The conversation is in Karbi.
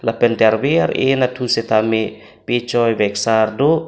lapente arve ar eh anatthu sitame me peh choi veksar do.